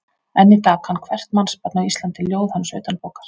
Enn í dag kann hvert mannsbarn á Íslandi ljóð hans utanbókar.